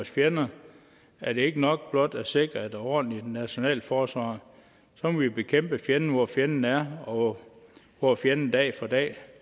fjender er det ikke nok blot at sikre et ordentligt nationalt forsvar så må vi bekæmpe fjenden hvor fjenden er og hvor fjenden dag for dag